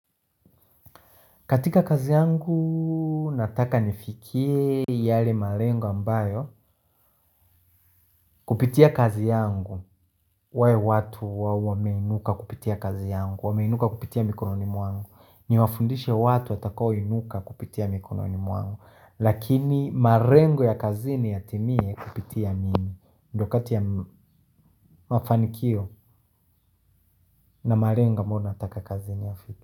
Katika kazi yangu nataka nifikie yale malengo ambayo kupitia kazi yangu wawe watu wameinuka kupitia kazi yangu, wameinuka kupitia mikononi mwangu. Ni wafundishe watu watakao inuka kupitia mikononi mwangu. Lakini marengo ya kazini yatimie kupitia mimi ndo kati ya mafanikio na malengo ambayo nataka kazini.